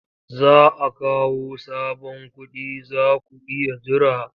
Za a kawo sabon kuɗi za ku iya jira.